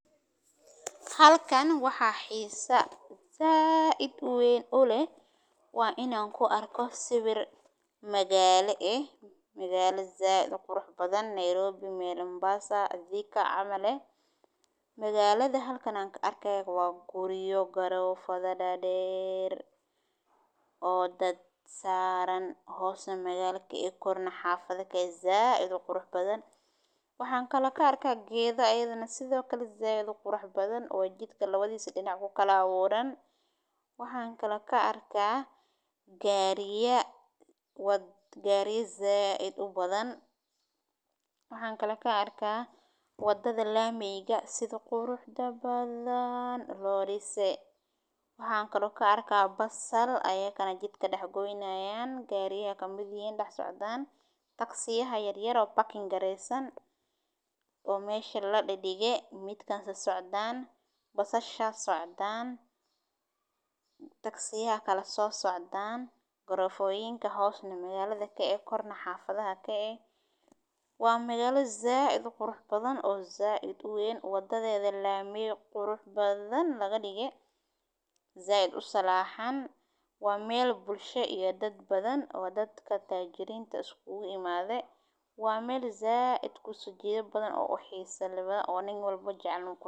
Halkan waxaa xiisa zaa idweyn olay. Waa inaan ku arko siwir magaale ah magaalo zaah idoo qurux badan. Nairobi, Mombasa, thika camal eeh. magaalada halkaan arkaaga waa guriyo garo fadha dhadheer oo dad saaran hoose magaalada i koorno xaafadha ka zaa idoo qurux badan. Waxaan kallaka arka geedo aydana sida kale zaa idoo qurux badan oo jidka 2 dii si dhinac ku kala guuran. Waxaan kallaka arka gaariya wad gaariya zaa idoo badan. Waxaan kallaka arka waddada laameyga si qurux dabaal loo dhiisey. Waxaan kallaka arkaa basaal ayee kana jidka dhax goynaayaan gaariyee ka mideyn dhax socdaan taksiyaha yaryaro parking ga reysan oo meesha la dhigay. Midkaan si socdaan basashaas socdaan taksiyaa kala soo socdaan garofooyinka hoosna magaalada ka ee korna xaafadha ka. Waa magaalo zaah idoo qurux badan oo zaa idweyn waddada laameey qurux badan laga dhigo zaa idoo salaahan. Waa meel bulsho iyo dad badan. Waa dadka taajiriinta isku imade. Waa meel zaa idku sajiido badan oo o xiisa labada. Oon in walbo jeclan ku.